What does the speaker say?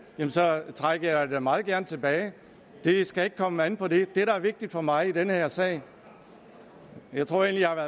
trækker jeg det da meget gerne tilbage det skal ikke komme an på det det der er vigtigt for mig i den her sag tror jeg